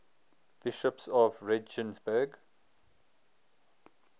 bishops of regensburg